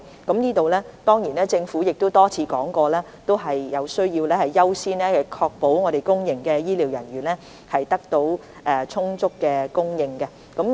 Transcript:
關於這方面，政府已多次表示有需要優先確保公營醫療機構的醫護人員獲得充足的供應。